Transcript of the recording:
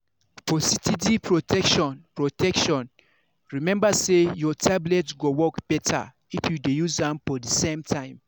for steady protection protection remember say your tablet go work beter if you dey use am for the same time.